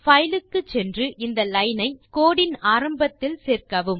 file க்கு சென்று இந்த லைன் ஐ கோடு இன் ஆரம்பத்தில் சேர்க்கவும்